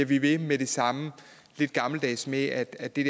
vi ved med det samme lidt gammeldags med at det